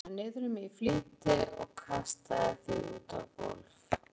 Ég smeygði föðurlandinu niður um mig í flýti og kastaði því út á gólf.